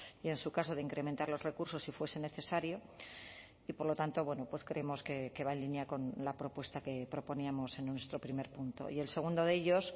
y en su caso de incrementar los recursos si fuese necesario y por lo tanto bueno pues creemos que va en línea con la propuesta que proponíamos en nuestro primer punto y el segundo de ellos